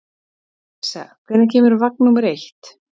Yrsa, hvenær kemur vagn númer eitt?